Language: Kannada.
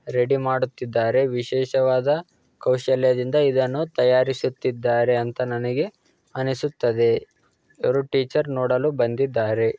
ರೆಡಿ ಮಾಡುತ್ತಿದ್ದಾರೆ ವಿಶೇಷವಾದ ಕೌಶಲ್ಯದಿಂದ ಇದನ್ನು ತಯಾರಿಸುತ್ತಿದ್ದಾರೆ ಅಂತ ನನಗೆ ಅನಿಸುತ್ತದೆ. ಯಾರೋ ಟೀಚರ್ ನೋಡಲು ಬಂದಿದ್ದಾರೆ.